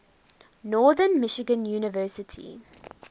northern michigan university